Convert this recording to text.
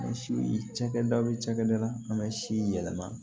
Cakɛda bɛ cakɛda an bɛ si yɛlɛma